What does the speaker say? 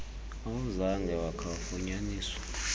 awuzange wakha wafunyaniswa